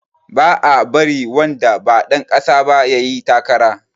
Ba a bari wanda ba ɗan ƙasa ba yayi takara